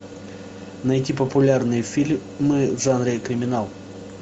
найти популярные фильмы в жанре криминал